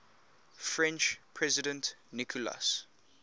french president nicolas